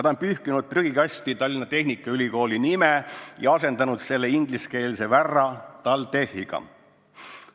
Ta on pühkinud prügikasti Tallinna Tehnikaülikooli nime ja asendanud selle ingliskeelse värra TalTechiga.